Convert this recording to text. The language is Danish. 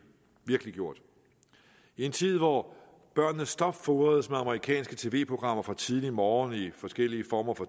virkeliggjort i en tid hvor børnene stopfodres med amerikanske tv programmer fra tidlig morgen i forskellige former for